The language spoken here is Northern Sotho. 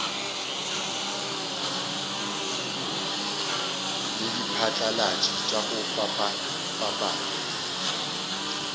le diphatlalatši tša go fapafapana